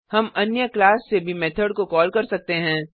हम अन्य क्लास से भी मेथड को कॉल कर सकते हैं